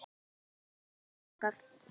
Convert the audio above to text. Veistu hvað er langt þangað?